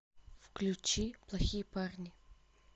включи плохие парни